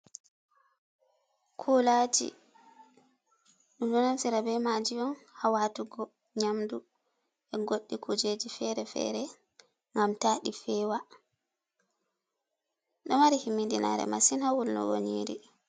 Kuulaaji, ɗum ɗo naftira be maji on ha waatugo nyamdu, e goɗɗi kuujeji fere-fere ngam ta ɗi fewa, ɗo mari himmiɗinaare masin ha wulnugo nyiri.